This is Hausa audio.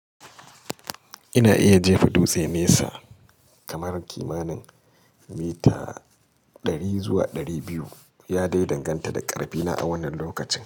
Ina iya jefa dutse nesa kamar kimanin mita 100 zuwa 200. Ya dai danganta da ƙarfina a wannan lokacin.